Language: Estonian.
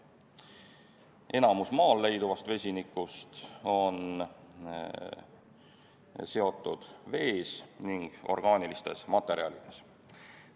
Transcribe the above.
Enamik Maal leiduvast vesinikust on seotud vees ning orgaanilistes materjalides.